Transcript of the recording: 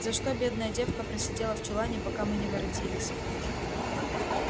за что бедная девка просидела в чулане пока мы не воротились